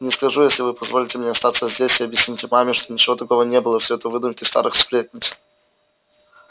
не скажу если вы позволите мне остаться здесь и объясните маме что ничего такого не было всё это выдумки старых сплетниц